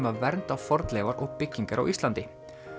að vernda fornleifar og byggingar á Íslandi